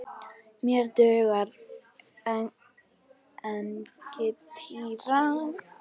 Mér dugar engin týra!